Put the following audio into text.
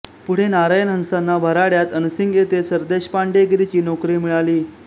पुढे नारायण हंसांना वऱ्हाडात अनसिंग येथे सरदेशपांडेगिरीची नोकरी मिळाली